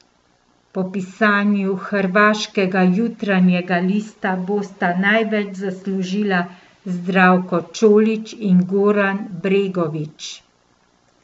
Po pisanju hrvaškega Jutarnjega lista bosta največ zaslužila Zdravko Čolić in Goran Bregović.